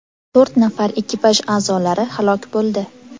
To‘rt nafar ekipaj a’zolari halok bo‘ldi.